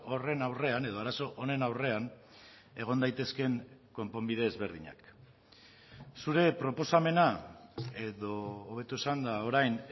horren aurrean edo arazo honen aurrean egon daitezkeen konponbide ezberdinak zure proposamena edo hobeto esanda orain